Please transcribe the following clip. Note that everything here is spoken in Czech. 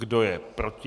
Kdo je proti?